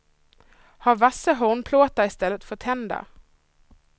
Har vassa hornplåtar i stället för tänder.